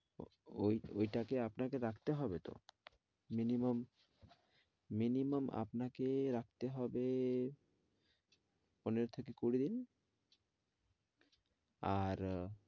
ঐ ঐটাকে আপনাকে রাখতে হবে তো minimum minimum আপনাকে রাখতে হবে পনেরো থেকে কুড়ি দিন। আর